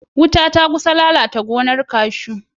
Wuta ta kusa lalata gonar kashu.